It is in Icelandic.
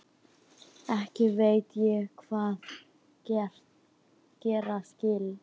Ekki veit ég hvað gera skal.